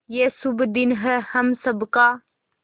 ये शुभ दिन है हम सब का